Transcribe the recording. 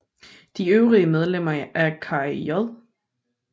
De øvrige medlemmer er Kari J